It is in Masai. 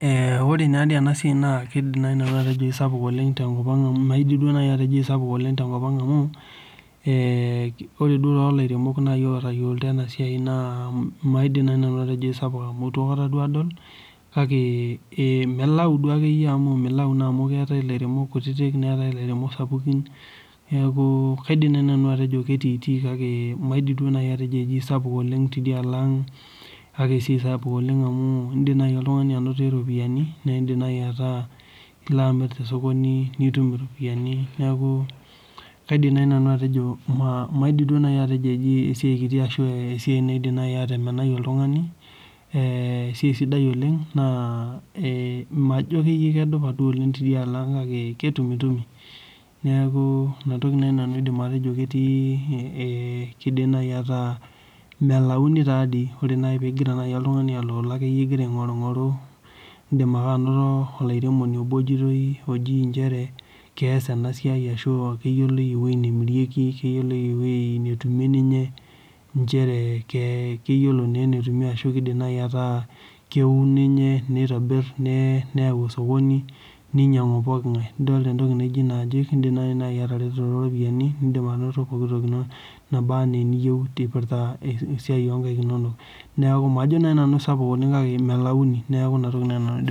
Ore nadi enasia nakaidim atejo esapuk tenkopang amu maidim nai atejo kesapuk tenkopang amu ee orw duo to laremok otayolo enasia amu ituakata adol kake milau duo akeyie amu keetae ilaremok kutitik neatae ilairemok sapukin neaku kaidi nai atejo ketiiti kake indim nai oltungani nitum iropiyani neaku kaidim nai nanu atejo maidim nai ateno esiai nindim aitengenai oltungani kake ketumitumi neaku inatoki nai nanu aidim atejo kidim ataa melauni taatoi kake ore nai peaku ingira amanimanaa mealuni olairemoni obo nchere keas enasia ashu keyioloi ewoi namirikieki ashu keyioloi ewoi natumieki nchere kiyooloi ewoi namirieki keun ninche nitobir neyau osokoni neya poki ngae ore entoki naijo ena ekindim atareto toropiyani indim ainoto pooki toki naba anaa niyieu kake mealuni